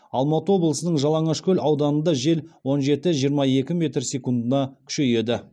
алматы облысының жалаңашкөл ауданында жел он жеті жиырма екі метр секундына күшейеді